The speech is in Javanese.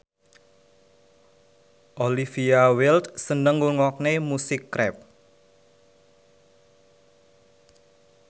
Olivia Wilde seneng ngrungokne musik rap